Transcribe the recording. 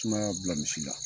tumaya y'a bila misi la.